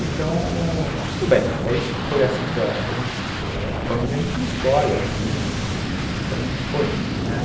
Então, tudo bem, é isso, e foi assim que a gente, família a gente não escolhe assim, então foi indo, né.